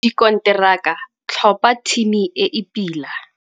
Dikonteraka - tlhopha thimi e e pila.